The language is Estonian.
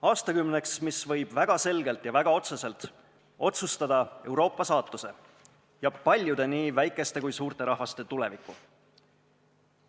Aastakümneks, mis võib väga selgelt ja väga otseselt otsustada Euroopa saatuse ja paljude nii väikeste kui ka suurte rahvaste tuleviku.